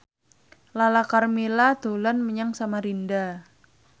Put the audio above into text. Lala Karmela dolan menyang Samarinda